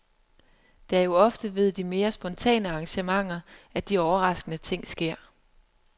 Det er jo ofte ved de mere spontane arrangementer, at de overraskende ting sker.